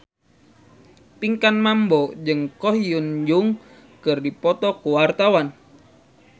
Pinkan Mambo jeung Ko Hyun Jung keur dipoto ku wartawan